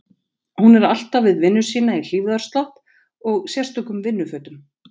Hún er alltaf við vinnu sína í hlífðarslopp og sérstökum vinnufötum.